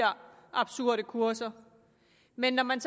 absurde kurser men når man